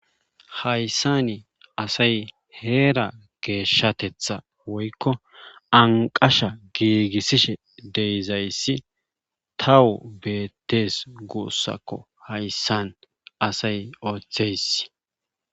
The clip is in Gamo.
hayssani asay heera geeshshatetha woykko anqasha giigissishe deizayssi tawu beettees guussakko hayssan asay ooththeys